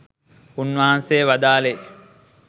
උන්වහන්සේ වදාළේ